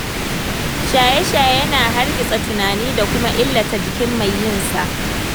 Shaye-shaye yana hargitsa tunani da kuma illata jikin mai yinsa.